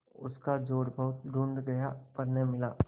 उसका जोड़ बहुत ढूँढ़ा गया पर न मिला